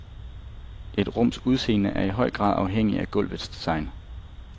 Et rums udseende er i høj grad afhængig af gulvets design.